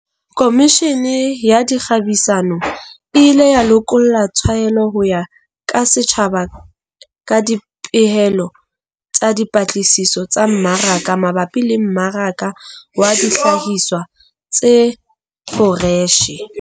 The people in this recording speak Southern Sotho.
Komishene ya Dikgabisano e ile ya lokolla tshwaelo ho ya ka setjhaba ka dipehelo tsa dipatlisiso tsa mmaraka mabapi le mmaraka wa dihlahiswa tse foreshe.